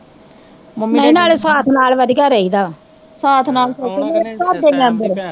ਨਈ ਨਾਲੇ ਸਾਥ ਨਾਲ਼ ਵਧੀਆ ਰਹੀਦਾ ਵਾਂ, ਸਾਥ ਨਾਲ਼